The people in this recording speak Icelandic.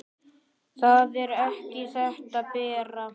Það er ekki þetta, Bera!